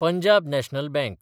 Punjab National bank